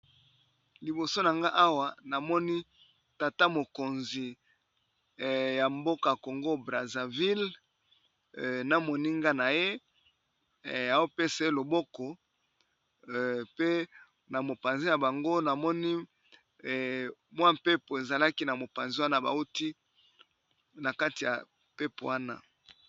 Liboso na nga awa namoni tata mokonzi ya mboka Congo Brazzaville na moninga na ye opesa ye loboko pe na mopanzi ya na bango namoni mwa mpepo ezalaki na mopanzi wana bawuti na kati ya mpepo wana.